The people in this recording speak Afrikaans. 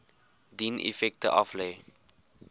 dien effekte aflê